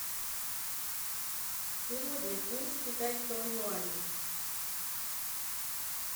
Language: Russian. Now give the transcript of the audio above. сегодня курс китайского юаня